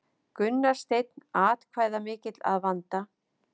Gunnar Steinn atkvæðamikill að vanda